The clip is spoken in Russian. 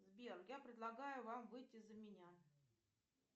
сбер я предлагаю вам выйти за меня